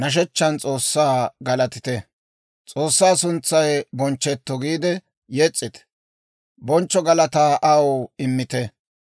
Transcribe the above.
«S'oossaa suntsay bonchchetto!» giide yes's'ite; bonchcho galataa aw immite.